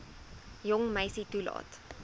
jong meisie toelaat